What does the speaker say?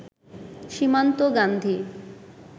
Simanta Gandhi